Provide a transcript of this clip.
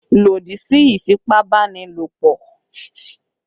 Lòdì sí ìfipá-báni-lòpọ̀!